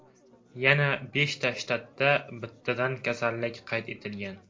Yana besh shtatda bittadan kasallik qayd etilgan.